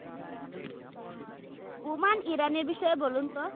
বোমান ইরানি এর বিষয়ে বলুন তো?